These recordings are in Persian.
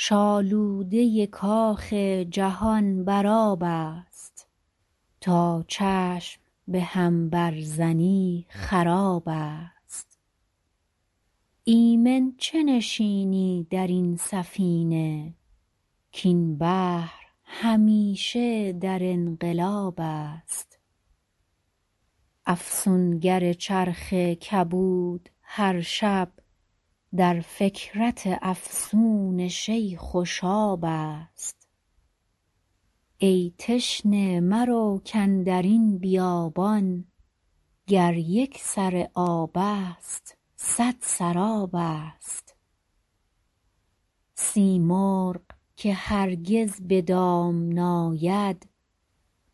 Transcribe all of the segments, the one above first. شالوده کاخ جهان بر آبست تا چشم بهم بر زنی خرابست ایمن چه نشینی درین سفینه کاین بحر همیشه در انقلابست افسونگر چرخ کبود هر شب در فکرت افسون شیخ و شابست ای تشنه مرو کاندرین بیابان گر یک سر آبست صد سرابست سیمرغ که هرگز بدام نیاد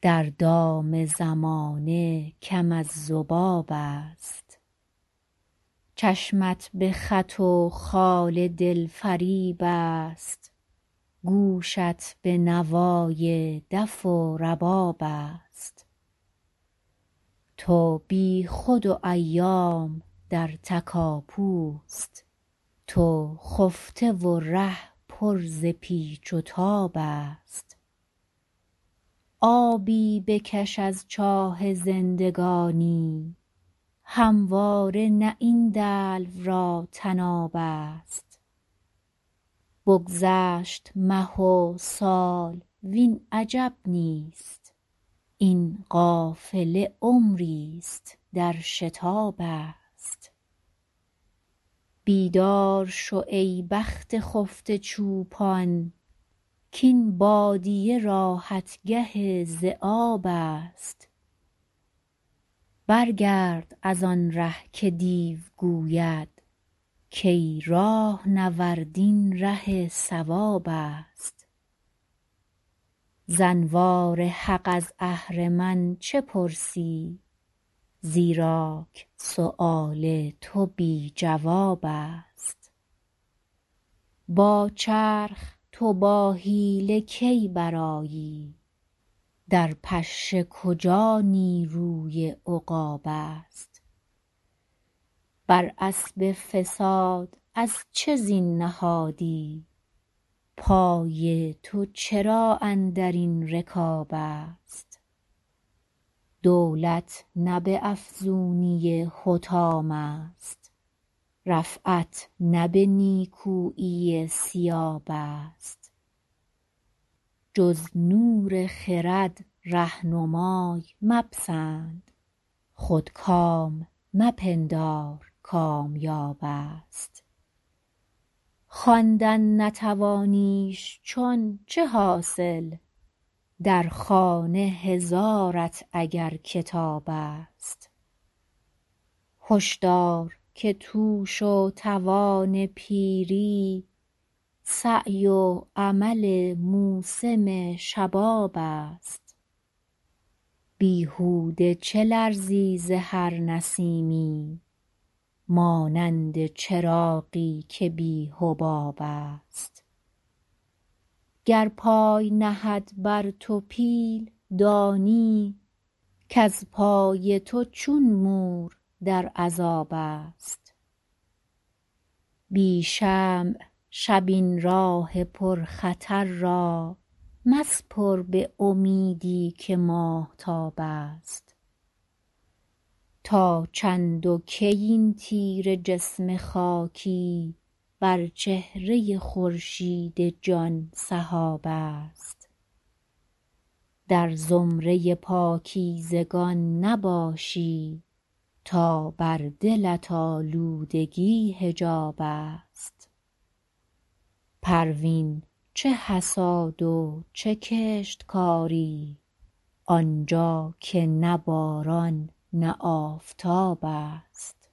در دام زمانه کم از ذبابست چشمت بخط و خال دلفریب است گوشت بنوای دف و ربابست تو بیخود و ایام در تکاپو است تو خفته و ره پر ز پیچ و تابست آبی بکش از چاه زندگانی همواره نه این دلو را طنابست بگذشت مه و سال وین عجب نیست این قافله عمریست در شتابست بیدار شو ای بخت خفته چوپان کاین بادیه راحتگه ذیابست بر گرد از آنره که دیو گوید کای راهنورد این ره صوابست ز انوار حق از اهرمن چه پرسی زیراک سیوال تو بی جوابست با چرخ تو با حیله کی برآیی در پشه کجا نیروی عقابست بر اسب فساد از چه زین نهادی پای تو چرا اندرین رکابست دولت نه به افزونی حطام است رفعت نه به نیکویی ثیابست جز نور خرد رهنمای مپسند خودکام مپندار کامیابست خواندن نتوانیش چون چه حاصل در خانه هزارت اگر کتابست هشدار که توش و توان پیری سعی و عمل موسم شبابست بیهوده چه لرزی ز هر نسیمی مانند چراغی که بی حبابست گر پای نهد بر تو پیل دانی کز پای تو چون مور در عذابست بی شمع شب این راه پرخطر را مسپر بامیدی که ماهتابست تا چند و کی این تیره جسم خاکی بر چهره خورشید جان سحابست در زمره پاکیزگان نباشی تا بر دلت آلودگی حجابست پروین چه حصاد و چه کشتکاری آنجا که نه باران نه آفتابست